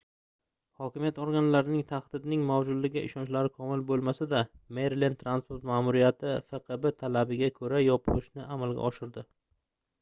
hokimiyat organlarining tahdidning mavjudligiga ishonchlari komil boʻlmasada merilend transport maʼmuriyati fqb talabiga koʻra yopishni amalga oshirdi